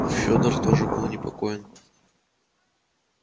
федор тимофеич тоже был непокоен